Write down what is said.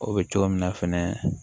O bɛ cogo min na fɛnɛ